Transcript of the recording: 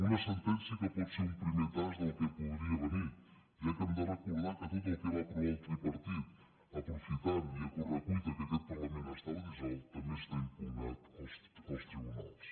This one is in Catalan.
una sentència que pot ser un primer tast del que podria venir ja que hem de recordar que tot el que va aprovar el tripartit aprofitant i a corre cuita que aquest parlament estava dissolt també està impugnat als tribunals